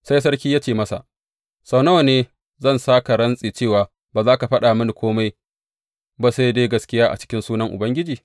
Sai sarki ya ce masa, Sau nawa ne zan sa ka rantse cewa ba za ka faɗa mini kome ba sai dai gaskiya a cikin sunan Ubangiji?